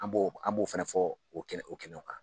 An b'o an b'o fana fɔ o kɛnɛ o kɛnɛ kan.